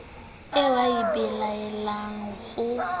eo o e belaelang ho